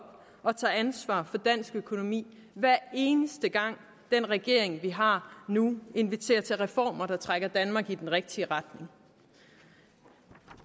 og tager ansvar for dansk økonomi hver eneste gang den regering vi har nu inviterer til reformer der trækker danmark i den rigtige retning